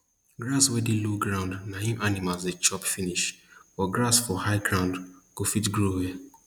grass wey dey low ground na im animals dey chop finish but grass for high ground go fit grow well